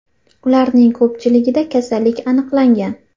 Ularning ko‘pchiligida kasallik aniqlangan.